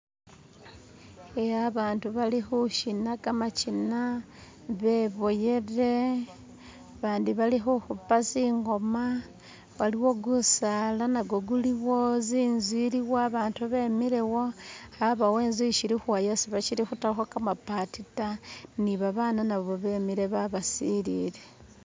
Iya abantu bali khuchina khamachina beboyele bandi balikhuhupa tsingoma waliwo gusaala nago guliwo zinzu iliwo abaatu bemilewo yabawo intsu ishili khuwa yesi bashili khutakho kamapaati ta ni babaana nabo bemile babasilile